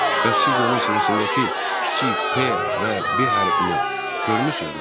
Bəs siz onun sinəsindəki kiçik P və B hərfini görmüsünüzmü?